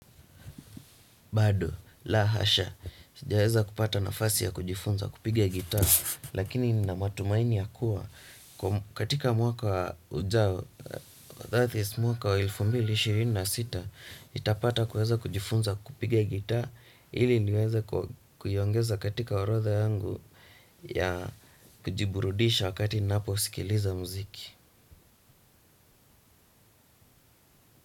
Bado, la hasha, sijaweza kupata nafasi ya kujifunza kupiga gita, lakini nina matumaini ya kuwa, katika mwaka ujao, that is mwaka elfu mbili ishirini na sita, nitapata kuweza kujifunza kupige gita, ili niweza kuiongeza katika orotha yangu ya kujiburudisha wakati ninapo sikiliza muziki.